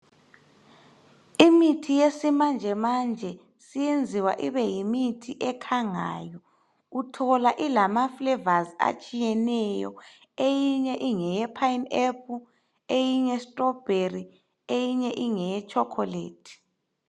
Imithi yesimanjemanje siyenziwa ibe yimithi ekhangayo uthola ilamaflavours atshiyeneyo eyinye ingeyepineapple, eyinye strawberry, eyinye ingeyechocolate.